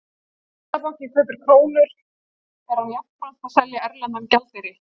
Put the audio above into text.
Þegar Seðlabankinn kaupir krónur er hann jafnframt að selja erlendan gjaldeyri.